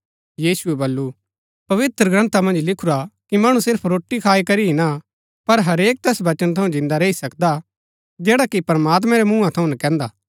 यीशुऐ बल्लू पवित्रग्रन्था मन्ज लिखुरा कि मणु सिर्फ रोटी खाई करी ही ना पर हरेक तैस वचन थऊँ जिन्दा रैई सकदा जैडा कि प्रमात्मैं रै मूँहा थऊँ नकैन्दा